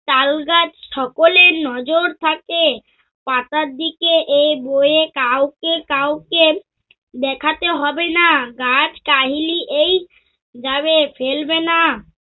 তালগাছ সকলের নজর থাকে। টাকার দিকে এই বইয়ে কাউকে কাউকে দেখাতে হবে না। গাছ কাহিলী এই যাবে ফেলবে না।